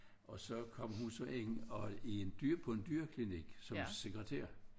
Og så kom hun så ind og i en på en dyreklinik som sekretær